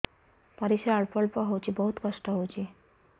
ପରିଶ୍ରା ଅଳ୍ପ ଅଳ୍ପ ହଉଚି ବହୁତ କଷ୍ଟ ହଉଚି